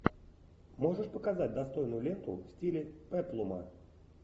можешь показать достойную ленту в стиле пеплума